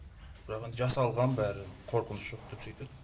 бірақ енді жасалған бәрі қорқыныш жоқ деп сөйтеді